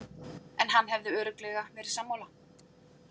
En hann hefði örugglega verið sammála.